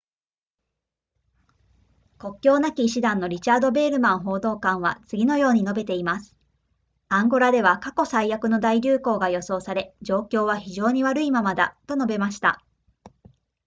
国境なき医師団のリチャード・ヴェールマン報道官は次のように述べています「アンゴラでは過去最悪の大流行が予想され、状況は非常に悪いままだ」と述べました